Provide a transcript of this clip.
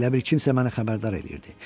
Elə bil kimsə məni xəbərdar eləyirdi.